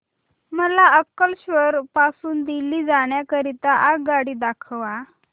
मला अंकलेश्वर पासून दिल्ली जाण्या करीता आगगाडी दाखवा